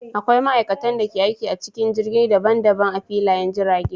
Akwai ma'aikatan da ke aiki a cikin jirgi daban daban a filayen jirage.